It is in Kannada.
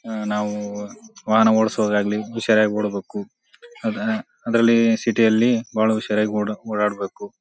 ಹ ನಾವು ವಾಹನ ಓಡ್ಸೋದಾಗಲಿ ಹುಷಾರಾಗಿ ಓಡ ಬೇಕು ಅಹ ಅದರಲ್ಲಿ ಸಿಟಿ ಯಲ್ಲಿ ಬಹಳ ಹುಷಾರಾಗಿ ಓಡ ಓಡಾಡಬೇಕು.